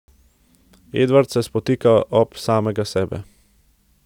Edvard se spotika ob samega sebe.